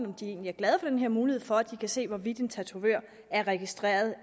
om de egentlig er glade for den her mulighed for at de kan se hvorvidt en tatovør er registreret